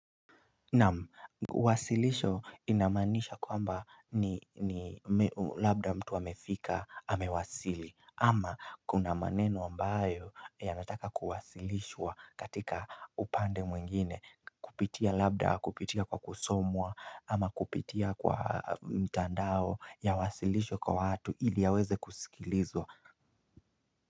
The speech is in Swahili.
Naam uwasilisho unamaanisha kwamba ni labda mtu amefika amewasili ama kuna maneno ambayo yanataka kuwasilishwa katika upande mwingine kupitia labda kupitia kwa kusomwa ama kupitia kwa mtandao ya wasilisho kwa watu ili yaweze kusikilizwa.